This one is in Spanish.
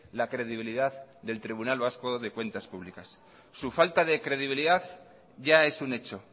la credibilidad del tribunal vasco de cuentas públicas su falta de credibilidad ya es un hecho